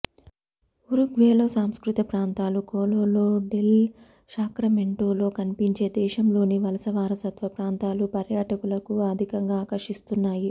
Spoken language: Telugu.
ఉరుగ్వేలో సాంస్కృతిక ప్రాంతాలు కొలోలో డెల్ శాక్రమెంటోలో కనిపించే దేశంలోని వలస వారసత్వ ప్రాంతాలు పర్యాటకులను అధికంగా ఆకర్షిస్తున్నాయి